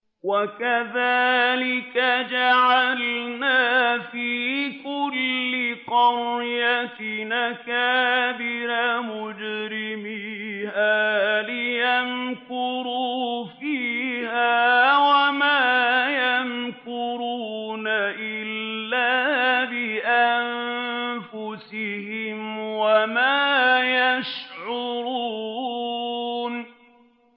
وَكَذَٰلِكَ جَعَلْنَا فِي كُلِّ قَرْيَةٍ أَكَابِرَ مُجْرِمِيهَا لِيَمْكُرُوا فِيهَا ۖ وَمَا يَمْكُرُونَ إِلَّا بِأَنفُسِهِمْ وَمَا يَشْعُرُونَ